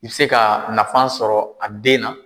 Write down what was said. I bɛ se ka nafan sɔrɔ a den na.